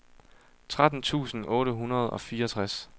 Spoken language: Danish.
tretten tusind otte hundrede og fireogtres